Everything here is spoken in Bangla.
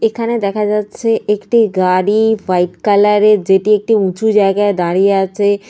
এখানে দেখা যাচ্ছে একটি গাড়ি ওয়াইট কালার -এর যেটি একটি উঁচু জায়গায় দাঁড়িয়ে আছে।